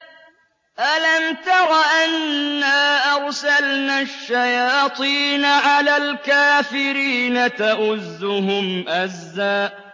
أَلَمْ تَرَ أَنَّا أَرْسَلْنَا الشَّيَاطِينَ عَلَى الْكَافِرِينَ تَؤُزُّهُمْ أَزًّا